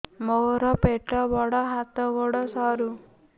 ମୋର ପେଟ ବଡ ହାତ ଗୋଡ ସରୁ